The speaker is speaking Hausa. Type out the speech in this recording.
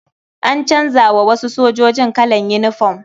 An canza wa wasu sojoji kalan yinifom.